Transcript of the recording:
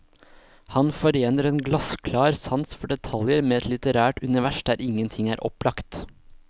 Han forener en glassklar sans for detaljer med et litterært univers der ingenting er opplagt.